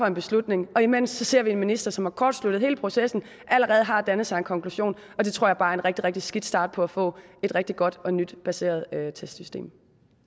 en beslutning imens ser vi en minister som har kortsluttet hele processen og allerede har dannet sig en konklusion det tror jeg bare er en rigtig rigtig skidt start på at få et rigtig godt og nyt baseret testsystem